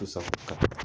Kosɛbɛ